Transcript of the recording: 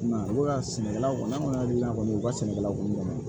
I m'a ye u b'a sɛnɛkɛlaw kɔni an kɔni hakili la kɔni u ka sɛnɛkɛlaw kunna